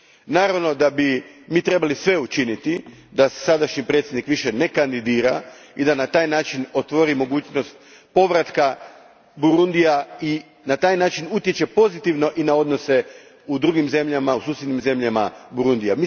Naravno da bismo mi trebali sve učiniti da se sadašnji predsjednik više ne kandidira i da se na taj način otvori mogućnost povratka Burundija i utječe pozitivno i na odnose u drugim zemljama, u susjednim zemljama Burundija.